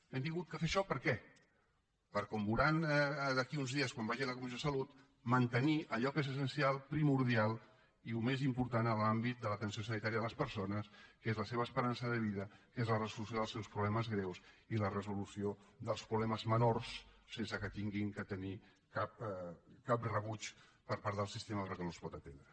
hem hagut de fer això per què per com veuran d’aquí a uns dies quan vagi a la comissió de salut mantenir allò que és essencial primordial i el més important en l’àmbit de l’atenció sanitària de les persones que és la seva esperança de vida que és la resolució dels seus problemes greus i la resolució dels problemes menors sense que hagin de tenir cap rebuig per part del sistema perquè no els pot atendre